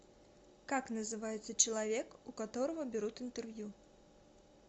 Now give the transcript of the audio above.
как называется человек у которого берут интервью